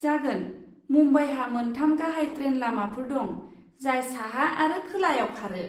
जागोन, मुम्बाइहा मोनथाम गाहाय ट्रेन लामाफोर दं जाय साहा आरो खोलायाव खारो।